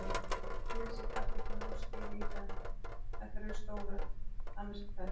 Flysjið kartöflurnar og skerið í fernt, ef þær eru stórar, annars í tvennt.